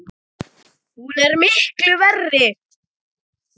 Hún er miklu verri!